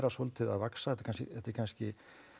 svolítið að vaxa þetta er kannski